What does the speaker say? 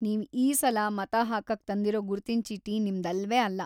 ನೀವ್ ಈ ಸಲ ಮತ ಹಾಕಕ್ ತಂದಿರೋ ಗುರ್ತಿನ್‌ ಚೀಟಿ ನಿಮ್ದಲ್ವೇ ಅಲ್ಲ.